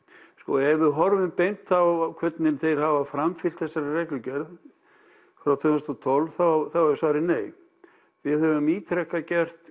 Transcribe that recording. ef við horfum beint á hvernig þeir hafa framfylgt þessari reglugerð frá tvö þúsund og tólf þá er svarið nei við höfum ítrekað gert